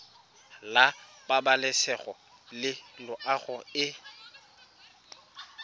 la pabalesego le loago e